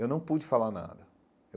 Eu não pude falar nada.